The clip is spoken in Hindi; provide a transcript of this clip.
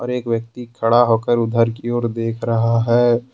एक व्यक्ति खड़ा होकर उधर की ओर देख रहा है।